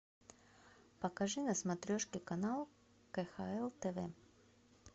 покажи на смотрешке канал кхл тв